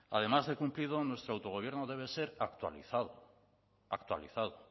además de cumplido nuestro autogobierno debe ser actualizado actualizado